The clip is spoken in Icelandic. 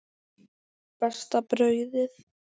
Besta brauðið